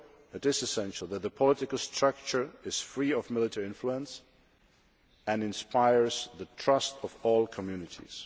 It is essential that the political structure is free of military influence and inspires the trust of all communities.